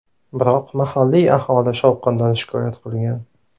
Biroq mahalliy aholi shovqindan shikoyat qilgan.